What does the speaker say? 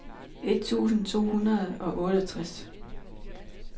et tusind to hundrede og seksogtres